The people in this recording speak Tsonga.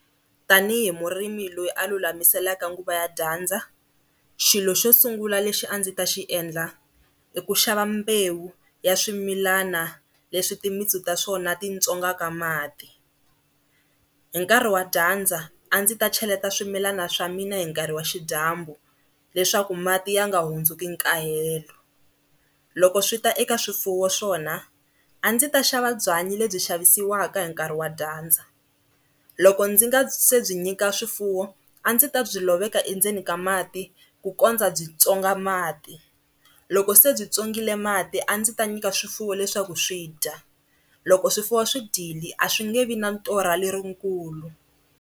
Tanihi murimi loyi a lulamisela nguva ya dyandza, xilo xo sungula lexi a ndzi ta xiendla i ku xava mbewu ya swimilana leswi timintsu ta swona titswongaka mati. Hi nkarhi wa dyandza a ndzi ta cheleta swimilana swa mina hi nkarhi wa xidyambu leswaku mati ya nga hundziki nkahelo. Loko swi ta eka swifuwo swona a ndzi ta xava byanyi lebyi xavisiwaka hi nkarhi wa dyandza loko ndzi nga se byi nyika swifuwo a ndzi ta byi loveka endzeni ka mati ku kondza byi tswonga mati, loko se byi tswongile mati a ndzi ta nyika swifuwo leswaku swi dya, loko swifuwo swi dyile a swi nge vi na torha lerikulu